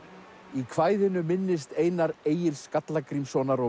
í kvæðinu minnist Einar Egils Skallagrímssonar og